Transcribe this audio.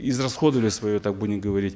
израсходовали свое так будем говорить